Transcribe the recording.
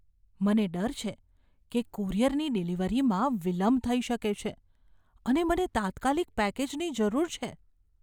મને ડર છે કે કુરિયરની ડિલિવરીમાં વિલંબ થઈ શકે છે, અને મને તાત્કાલિક પેકેજની જરૂર છે.